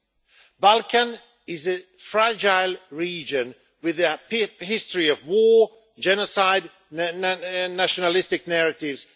The Balkans is a fragile region, with a history of war, genocide and nationalistic narratives.